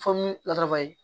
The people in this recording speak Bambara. Fɔmoyi latarabaye